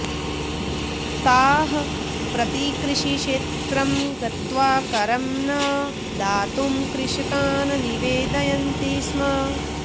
ताः प्रतिकृषिक्षेत्रं गत्वा करं न दातुं कृषकान् निवेदयन्ति स्म